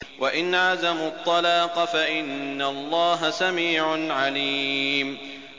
وَإِنْ عَزَمُوا الطَّلَاقَ فَإِنَّ اللَّهَ سَمِيعٌ عَلِيمٌ